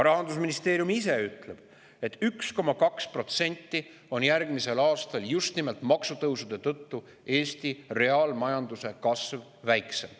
Rahandusministeerium ise ütleb, et Eesti reaalmajanduse kasv on järgmisel aastal just nimelt maksutõusude tõttu 1,2% väiksem.